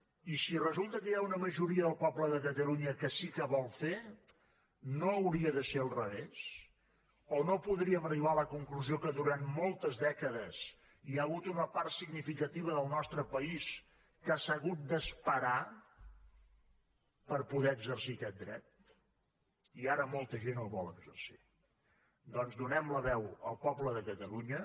i si resulta que hi ha una majoria del poble de catalunya que sí que vol fer no hauria de ser al revés o no podríem arribar a la conclusió que durant moltes dècades hi ha hagut una part significativa del nostre país que s’ha hagut d’esperar per poder exercir aquest dret i ara molta gent el vol exercir doncs donem la veu al poble de catalunya